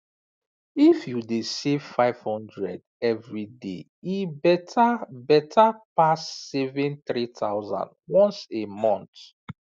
if you dey save 500 every day e better better pass saving 3000 once a month